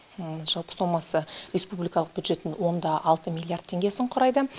жалпы сомасы респубилкалық бюджеттің он да алты миллиард теңгесін құрайды